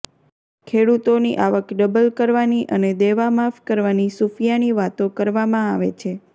ખેડૂતોની આવક ડબલ કરવાની અને દેવામાફ કરવાની સુફીયાણી વાતો કરવામાં આવે છે